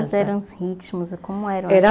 Quais eram os ritmos e como eram